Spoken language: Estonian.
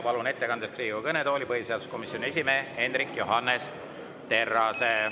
Palun ettekandeks Riigikogu kõnetooli põhiseaduskomisjoni esimehe Hendrik Johannes Terrase.